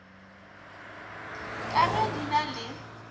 ka ge di na le